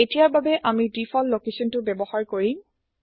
এতিয়াৰ বাবে আমি ডিফল্ট লোকেছনটো ব্যৱহাৰ কৰিম